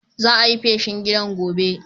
Za'a yi feshin gidan gobe.